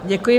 Děkuji.